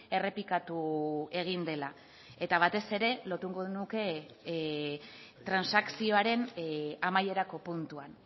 errepikatu egin dela eta batez ere lotuko nuke transakzioaren amaierako puntuan